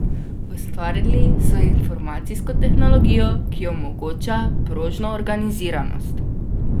Ustvarili so informacijsko tehnologijo, ki omogoča prožno organiziranost.